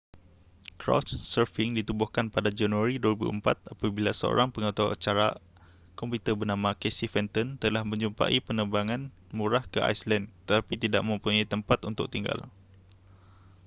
couchsurfing ditubuhkan pada januari 2004 apabila seorang pengaturcara komputer bernama casey fenton telah menjumpai penerbangan murah ke iceland tetapi tidak mempunyai tempat untuk tinggal